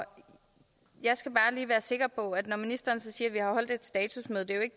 jeg skal bare lige være sikker på når ministeren siger